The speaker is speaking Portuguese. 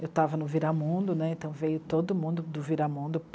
Eu estava no Viramundo, né, então veio todo mundo do Viramundo